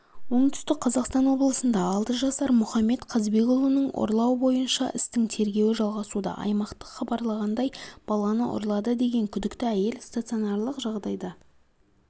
оңтүстік қазақстан облысында алты жасар мұхаммед қазбекұлын ұрлау бойынша істің тергеуі жалғасуда аймақтық хабарлағандай баланы ұрлады деген күдікті әйел стационарлық жағдайда